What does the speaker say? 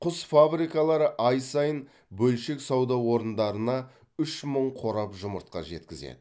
құс фабрикалары ай сайын бөлшек сауда орындарына үш мың қорап жұмыртқа жеткізеді